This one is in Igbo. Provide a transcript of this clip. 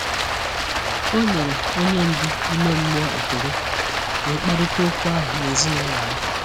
O nyere onye ndu ime mmụọ ekele, wee kparịta okwu ahụ na ezinụlọ ya.